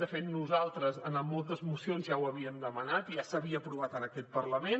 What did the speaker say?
de fet nosaltres en moltes mocions ja ho havíem demanat i ja s’havia aprovat en aquest parlament